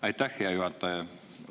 Aitäh, hea juhataja!